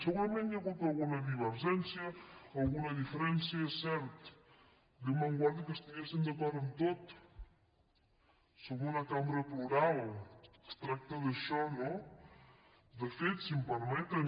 segurament hi ha hagut alguna divergència alguna diferència és cert déu me’n guardi que estiguéssim d’acord en tot som una cambra plural es tracta d’això no de fet si em permeten